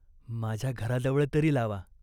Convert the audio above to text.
माझ्या घराजवळ तरी लावा.